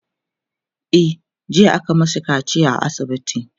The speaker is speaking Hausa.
e jiya aka mashi kaciya a asibiti